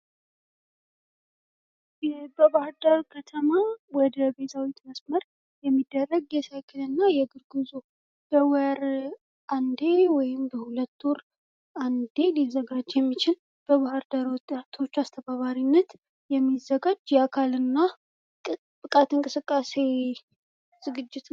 በባህርዳር ከተማ ወደ ቤዛዊት መስመር የሚደረግ የሳይክልና የእግር ጉዞ በወር አንድ ጊዜ ወይም በሁለት ወር አንድ ጊዜ የሚዘጋጅ የሚችል በባህርዳር ውጣቶች አስተባባሪነት የሚዘጋጅ የአካል ብቃት እንቅስቃሴ ዝግጅት